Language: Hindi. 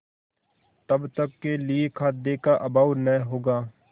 तब तक के लिए खाद्य का अभाव न होगा